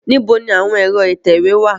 Níbo ni àwọn ẹ̀rọ ìtẹ̀wé wá à?